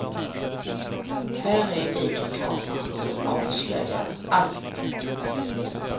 Här är videokameran som avslöjar allt.